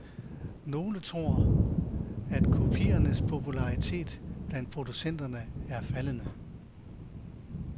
Nogle tror, at kopiernes popularitet blandt producenterne er faldende.